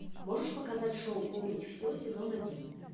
можешь показать шоу помнить все сезон один